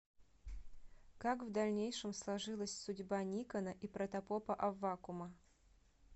как в дальнейшем сложилась судьба никона и протопопа аввакума